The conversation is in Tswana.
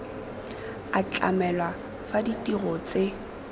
a tlamelwa fa ditiro tse